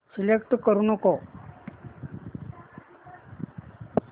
select करू नको